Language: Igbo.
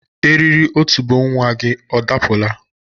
Eriri otubo nwa gi ọ dapụla?